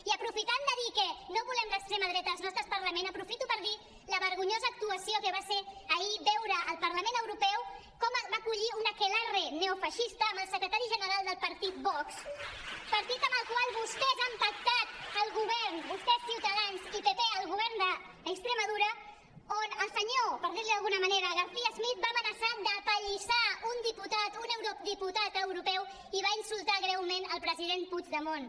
i aprofitant de dir que no volem l’extrema dreta als nostres parlaments aprofito per dir la vergonyosa actuació que va ser ahir veure al parlament europeu com va acollir un aquelarre neofeixista amb el secretari general del partit vox partit amb el qual vostès han pactat el govern vostès ciutadans i pp el govern d’andalusia on el senyor per dir li d’alguna manera ortega smith va amenaçar d’apallissar un diputat un eurodiputat europeu i va insultar greument el president puigdemont